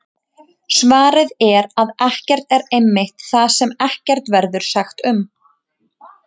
Svarið er að ekkert er einmitt það sem ekkert verður sagt um!